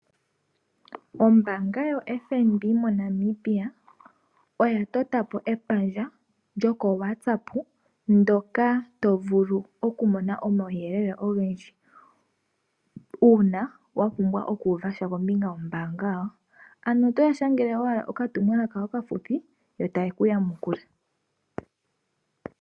Ombaanga yoFNB moNamibia oya tota po epandja lyokongodhi (WhatsApp) ndoka to vulu oku mona omauyelele ogendji uuna wa pumbwa oku uva sha kombinga yombaanga yawo. Ano otoya shangele owala oka tumwalaka okafupi yo taye ku yamukula.